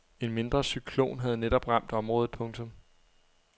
En mindre cyklon havde netop ramt området. punktum